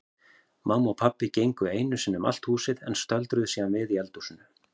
Mamma og pabbi gengu einu sinni um allt húsið en stöldruðu síðan við í eldhúsinu.